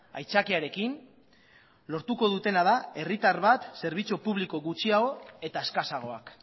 aitzakiarekin lortuko dutena da herritar bat zerbitzu publikoa gutxiago eta eskasagoak